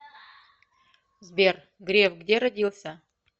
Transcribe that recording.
сбер греф где родился